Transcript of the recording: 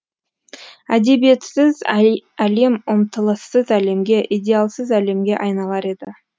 әдебиетсіз әлем ұмтылыссыз әлемге идеалсыз әлемге айналар еді